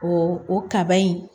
O o kaba in